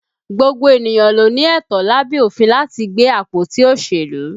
Gbogbo ènìyàn ló ní ẹ̀tọ́ lábẹ́ òfin láti gbé àpótí òṣèlú